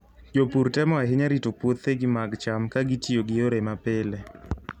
Jopur temo ahinya rito puothegi mag cham ka gitiyo gi yore mapile.